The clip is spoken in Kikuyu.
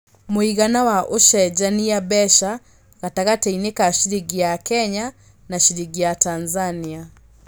mũigana wa ũcenjanĩa mbeca gatagatĩini ka ciringi ya Kenya na ciringi ya Tanzania